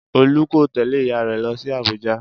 Olú kò tẹ̀lẹ́ ìyá rẹ lọ sí Abuja